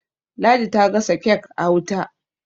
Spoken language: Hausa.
ladi ta gasa kek a wuta